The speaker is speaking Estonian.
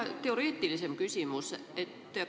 Mul on teoreetilisem küsimus.